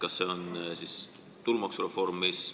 Kas see on äkki tulumaksureform?